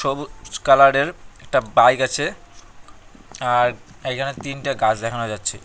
সবুজ কালারের একটা বাইক আছে আর এইখানে তিনটা গাছ দেখানো যাচ্ছে।